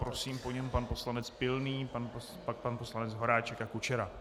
Prosím, po něm pan poslanec Pilný, pak pan poslanec Horáček a Kučera.